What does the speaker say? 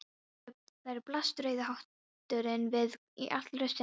Þar blasti rauði hatturinn við í allri sinni dýrð.